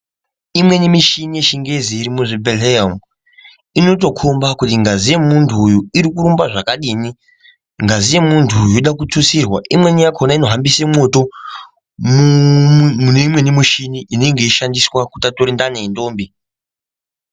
Imweni mushini yechingezi iri kuzvibhedhlera umu inotokomba kuti ngazi yemuntu uyu iri kurumba zvakadini ngazi yemuntu uyu Yoda kututsirwa imweni yakona inohambisa mwoto mune imweni mushini inenge yeishandiswa kuti atore ndani yendombi.